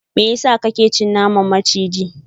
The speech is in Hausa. meyasa kake ci naman maciji?